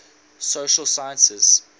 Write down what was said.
social sciences